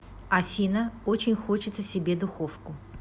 афина очень хочется себе духовку